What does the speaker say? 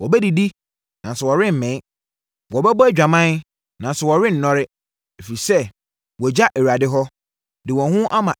“Wɔbɛdidi, nanso wɔremmee. Wɔbɛbɔ adwaman, nanso wɔrennɔre, ɛfiri sɛ, wɔagya Awurade hɔ, de wɔn ho ama